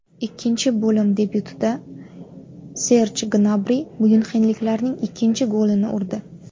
Ikkinchi bo‘lim debyutida Serj Gnabri myunxenliklarning ikkinchi golini urdi.